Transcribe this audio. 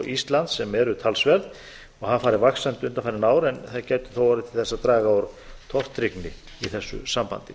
íslands sem eru talsverð og hafa farið vaxandi undanfarin ár en gætu þó orðið til að draga úr tortryggni í þessu sambandi